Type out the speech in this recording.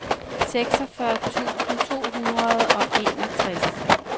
seksogfyrre tusind to hundrede og enogtres